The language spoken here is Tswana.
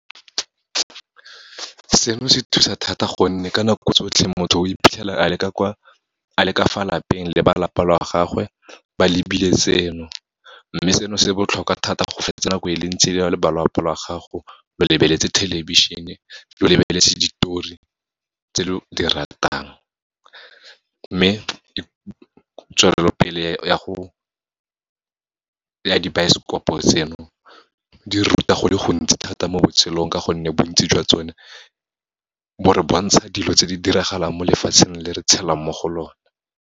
Seno se thusa thata gonne, ka nako tsotlhe motho o iphitlhela a le ka fa lapeng le ba lapa lwa gagwe, ba lebile seno. Mme seno se botlhokwa thata, go fetisa nako e le ntsi le na le ba lwapa la gago, lo lebeletse thelebišhene, lo lebeletse ditori tse lo di ratang. Mme, tswelelopele ya dibaesekopo tseno, di ruta go le gontsi thata mo botshelong, ka gonne bontsi jwa tsone bo re bontsha dilo tse di diragalang mo lefatsheng, le re tshelang mo go lona.